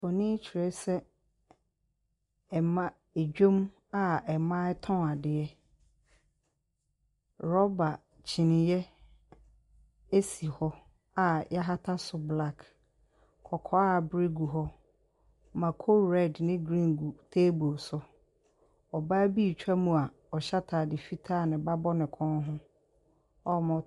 Nfonni kyerɛsɛ ɛma adwa mu a mmaa ɛretɔn adeɛ. Rubber kyiniiɛ esi hɔ a yɛahata so black. Kɔkɔɔ a abre gu hɔ, mako red ne green gu table so, ɔbaa bi retwa mu a ɔhyɛ ataade fitaa a ne ba bɔ ne kɔn ho a wɔn.